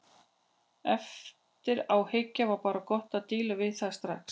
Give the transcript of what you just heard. Eftir á að hyggja var bara gott að díla við það strax.